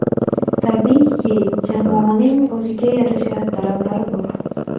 Tabiiyki, jamoaning o‘ziga yarasha talablari bor.